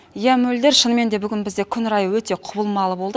иә мөлдір шынымен де бүгін бізде күн райы өте құбылмалы болды